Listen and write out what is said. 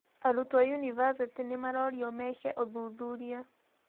Arutwo aa yunibacĩtĩ Ni marorio meki uthũthurĩa.